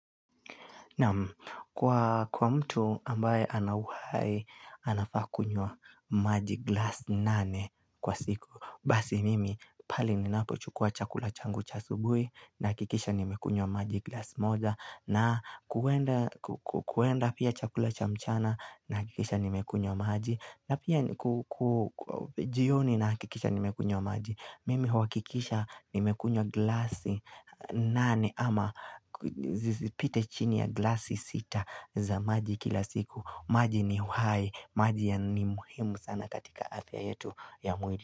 Naam kwa mtu ambaye anauha anafaa kunywa maji glasi nane kwa siku Basi mimi pale ninako chukua chakula changu cha asubui nahakikisha nimekunywa maji glasi moja na kuenda pia chakula cha mchana nahakikisha nimekunyww maji na pia kujioni nahakikisha nimekunywa maji Mimi huakikisha nimekunywa glasi nane ama pite chini ya glasi sita za maji kila siku maji ni uhai maji ya ni muhimu sana katika afya yetu ya mwili.